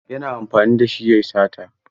Yana amfani da shi ya yi sata.